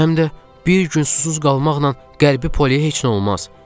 Həm də bir gün susuz qalmaqla qəlbə poliyə heç nə olmaz.